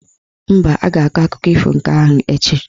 Mba, a ga-akụkọ ifo nke ahụ echi.